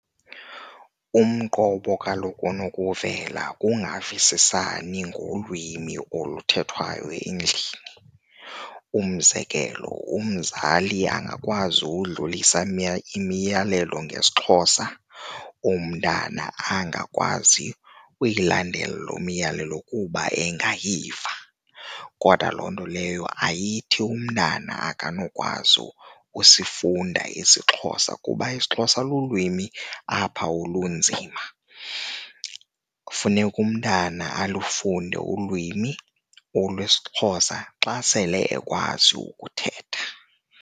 Umqobo kaloku onokuvela kungavisisani ngolwimi oluthethayo endlini. Umzekelo umzali angakwazi ukudlulisa imiyalelo ngesiXhosa, umntana angakwazi uyilandela loo miyalelo kuba engayiva. Kodwa loo nto leyo ayithi umntana akanokwazi ukusifunda esiXhosa kuba isiXhosa lulwimi apha olunzima. Funeka umntana alufunde ulwimi olwesiXhosa xa sele ekwazi ukuthetha.